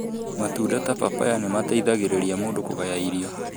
Matunda ta papaya nĩ mateithagĩrĩria mũndũ kũgaya irio.